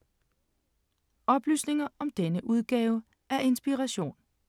Oplysninger om denne udgave af Inspiration